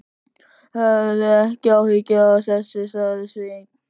Hafðu ekki áhyggjur af þessu, sagði Sveinn.